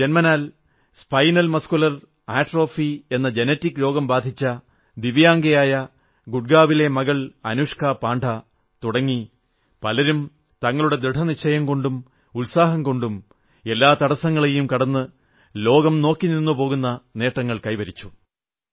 ജന്മനാൽ spinal muscular atrophy എന്ന genetic രോഗം ബാധിച്ച ദിവ്യാഗംയായ ഗുഡ്ഗാവിലെ മകൾ അനുഷ്കാ പാണ്ഡാ തുടങ്ങി പലരും തങ്ങളുടെ ദൃഢനിശ്ചയം കൊണ്ടും ഉത്സാഹം കൊണ്ടും എല്ലാ തടസ്സങ്ങളെയും കടന്ന് ലോകം നോക്കിനിന്നുപോകുന്ന നേട്ടങ്ങൾ കൈവരിച്ചു